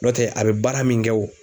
Nɔtɛ a bɛ baara min kɛ o